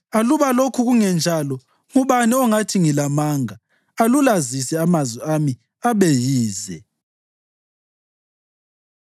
Aluba lokhu kungenjalo, ngubani ongathi ngilamanga alulazise amazwi ami abe yize?”